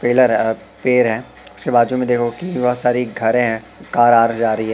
Pillar अ पेअर है। उसके बाजू में देखोगे की बहोत सारी घरे है। कार आ रही जा रही है।